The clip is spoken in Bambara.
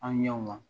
An ɲɛw ma